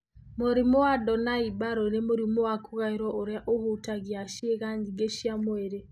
Mũrimũ wa Donnai Barrow nĩ mũrimũ wa kũgaĩrũo ũrĩa ũhutagia ciĩga nyingĩ cia mwĩrĩ.